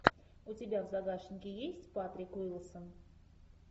у тебя в загашнике есть патрик уилсон